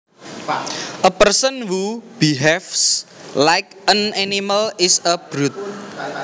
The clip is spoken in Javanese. A person who behaves like an animal is a brute